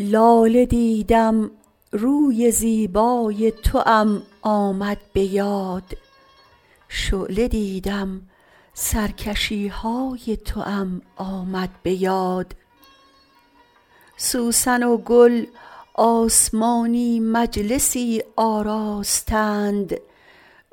لاله دیدم روی زیبای توام آمد به یاد شعله دیدم سرکشی های توام آمد به یاد سوسن و گل آسمانی مجلسی آراستند